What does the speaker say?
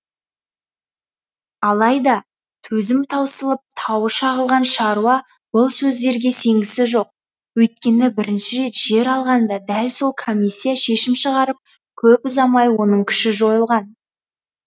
алайда төзім таусылып тауы шағылған шаруа бұл сөздерге сенгісі жоқ өйткені бірінші рет жер алғанда дәл сол комиссия шешім шығарып көп ұзамай оның күші жойылған